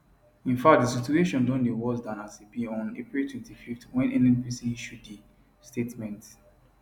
in fact di situation don dey worse dan as e be on april 25 wen nnpc issue di statement